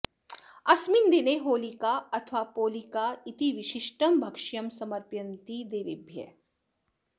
अस्मिन् दिने होलिका अथवा पोलिका इति विशिष्टं भक्ष्यं समर्पयन्ति देवेभ्यः